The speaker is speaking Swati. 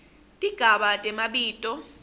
tigaba temabito